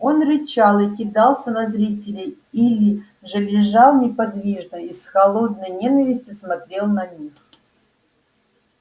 он рычал и кидался на зрителей или же лежал неподвижно и с холодной ненавистью смотрел на них